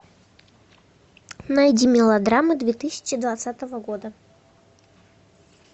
найди мелодраму две тысячи двадцатого года